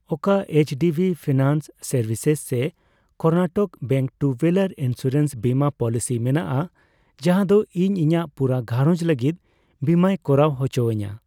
ᱚᱠᱟ HDB finance services ᱥᱮ Karnataka bank two wheeler insurance ᱵᱤᱢᱟᱹ ᱯᱚᱞᱤᱥᱤ ᱢᱮᱱᱟᱜᱼᱟ ᱡᱟᱦᱟᱸ ᱫᱚ ᱤᱧ ᱤᱧᱟᱜ ᱯᱩᱨᱟᱹ ᱜᱷᱟᱨᱚᱡᱽ ᱞᱟᱹᱜᱤᱫ ᱵᱤᱢᱟᱹᱭ ᱠᱚᱨᱟᱣ ᱩᱪᱚᱣᱟᱹᱧᱟ ?